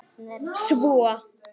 Svo færði hún hana neðar.